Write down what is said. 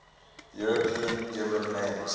european given names